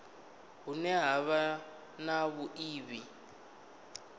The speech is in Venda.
hune ha vha na vhuiivhi